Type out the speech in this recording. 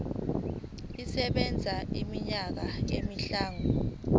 isebenza iminyaka emihlanu